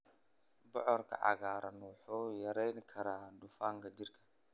Bocorka cagaaran wuxuu yareyn karaa dufanka jirka.